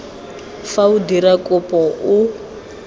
fa o dira kopo o